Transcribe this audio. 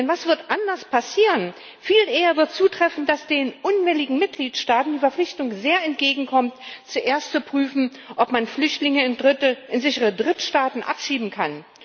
Denn was wird anders werden? Viel eher wird zutreffen, dass den unwilligen Mitgliedstaaten die Verpflichtung sehr entgegenkommt, zuerst zu prüfen, ob man Flüchtlinge in sichere Drittstaaten abschieben kann.